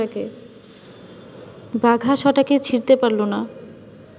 বাঘা সটাকে ছিঁড়তে পারল না